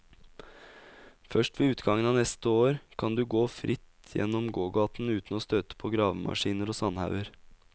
Først ved utgangen av neste år kan du gå fritt gjennom gågaten uten å støte på gravemaskiner og sandhauger.